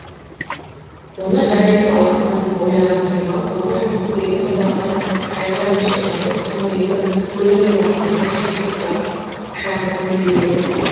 оны жар етіп алатынын ойлаған кемал тоғыз жыл көкірегін торлаған қайғы ренішті ұмытып төңірегі гүлге оранғандай шексіз бақыт құшағында тербеледі